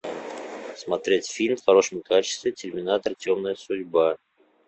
смотреть фильм в хорошем качестве терминатор темная судьба